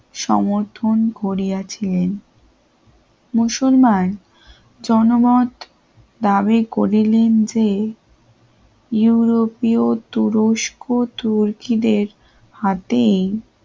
সমর্থন করিয়াছিলেন মুসলমান জনমত লাভে করিলেন যে ইউরোপীয় তুরস্ক তুর্কীদের হাতে